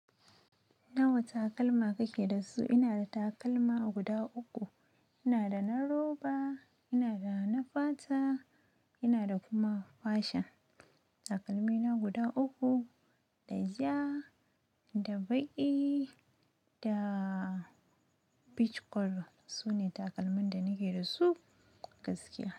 Nawa takalma kake da su? Ina da takalma guda uku. Ina da na roba, ina da na fata, ina da kuma fashon. Takalmi na guda uku, da ja, da baƙi da pich kolo su ne takalmin da nake da su gaskiya.